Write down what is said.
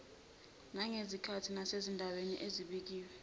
nangezikhathi nasezindaweni ezibekiwe